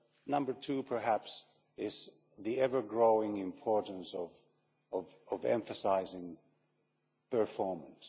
Number two perhaps is the ever growing importance of emphasising performance.